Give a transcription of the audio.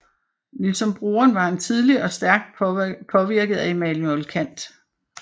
Ligesom broren var han tidligt og stærkt påvirket af Immanuel Kant